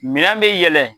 Minɛn bɛ yɛlɛ